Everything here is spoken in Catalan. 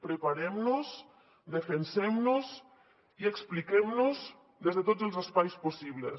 preparem nos defensem nos i expliquem nos des de tots els espais possibles